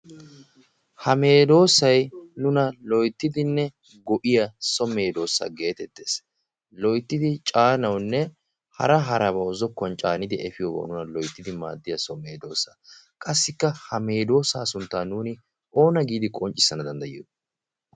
ha meedoosay nuna loyttidinne go'iya so meedoosa geetettees. loyttidi caanaunne hara harabau zokkon caanidi efiyoowa nuna loyttidi maaddiya someedoosa qassikka ha meedoosa sunttan nuuni oona giidi qonccissana danddayiyo?